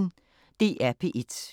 DR P1